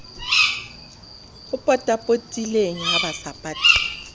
o potapotileng ha ba sa